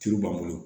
Tulu b'an bolo